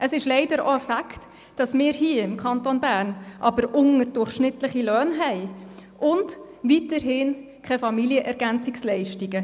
Es ist aber leider auch ein Fakt, dass wir hier im Kanton Bern unterdurchschnittliche Löhne haben und weiterhin keine Familienergänzungsleistungen.